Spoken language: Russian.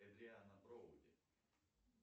эдриана броуди